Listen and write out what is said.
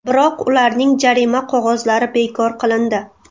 Biroq ularning jarima qog‘ozlari bekor qilindi.